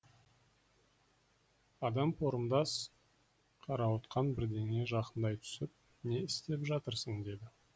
адам порымдас қарауытқан бірдеңе жақындай түсіп не істеп жатырсың деді